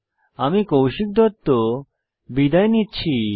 আমি কৌশিক দত্ত বিদায় নিচ্ছি